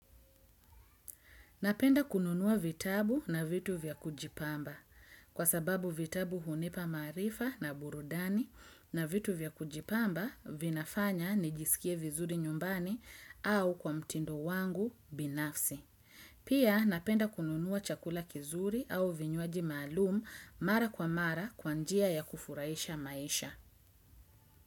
Napenda kununua vitabu na vitu vya kujipamba kwa sababu vitabu hunipa maarifa na burudani na vitu vya kujipamba vinafanya nijisikie vizuri nyumbani au kwa mtindo wangu binafsi. Pia napenda kununua chakula kizuri au vinywaji maalum mara kwa mara kwa njia ya kufurahisha maisha.